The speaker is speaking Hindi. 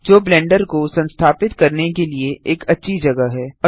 जो ब्लेंडर को संस्थापित करने के लिए एक अच्छी जगह है